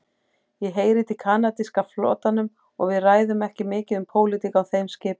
Ég heyri til kanadíska flotanum og við ræðum ekki mikið um pólitík á þeim skipum.